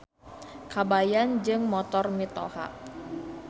Kabayan Jeung Motor Mitoha.